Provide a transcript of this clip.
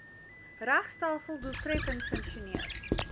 regstelsel doeltreffend funksioneer